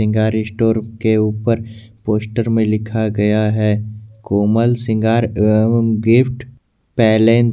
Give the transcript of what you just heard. श्रृंगार स्टोर के ऊपर पोस्टर में लिखा गया है कोमल श्रृंगार एवं गिफ्ट पैलेस --